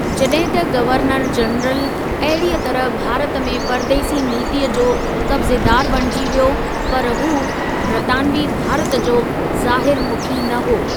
जॾहिं त governor general अहिड़ीअ तरह भारत में परदेसी नीतिअ जो कब्ज़ेदार बणिजी वियो, पर हूं ब्रितानिवी भारत जो ज़ाहिर मुखी न हो।